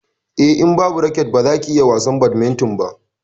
Eh, in babu raket baza ka iya wasan badminton ba.